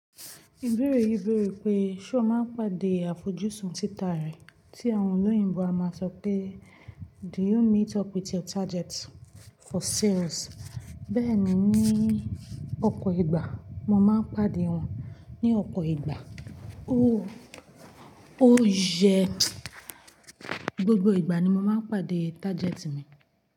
Ìbéèrè yí béèrè pé ṣé o máa ń pàdé àfojúsùn títà rẹ̀ tí àwọn olóyìnbo a máa sọ pé "Do you meet up with your target for sales?" Bẹ́ẹ̀ ni, ní ọ̀pọ̀ ìgbà mo máa ń pàdé wọn, ní ọ̀pọ̀ ìgbà ó ó yẹ gbogbo ìgbà ni mo máa ń pàdé tágẹ́ẹ̀tì mi.